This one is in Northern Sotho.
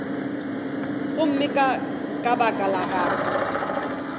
gomme ka baka la go